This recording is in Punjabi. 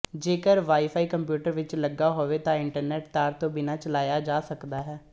ਜੇਕਰ ਵਾਈਫਾਈ ਕੰਪਿਊਟਰ ਵਿੱਚ ਲੱਗਾ ਹੋਵੇ ਤਾਂ ਇੰਟਰਨੈੱਟ ਤਾਰ ਤੋਂ ਬਿਨਾਂ ਚਲਾਇਆ ਜਾ ਸਕਦਾ ਹੈ